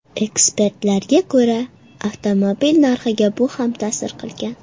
Ekspertlarga ko‘ra, avtomobil narxiga bu ham ta’sir qilgan.